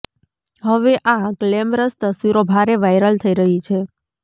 હવે આ ગ્લેમરસ તસવીરો ભારે વાયરલ થઈ રહી છે